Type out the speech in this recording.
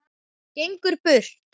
Gengur burt.